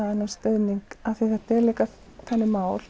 þennan stuðning af því að þetta er líka þannig mál